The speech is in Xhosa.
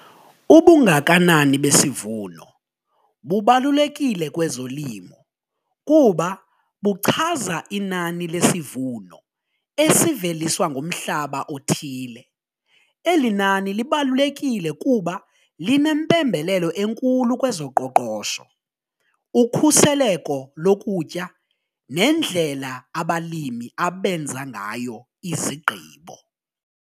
Ubungakanani besivuno bubalulekile kwezolimo kuba buchaza inani lesivuno esiveliswa ngumhlaba othile, eli nani libalulekile kuba linempembelelo enkulu kwezoqoqosho, ukhuseleko lokutya nendlela abalimi abenza ngayo izigqibo.